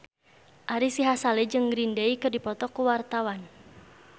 Ari Sihasale jeung Green Day keur dipoto ku wartawan